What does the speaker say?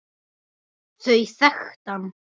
Þau þekkti hann.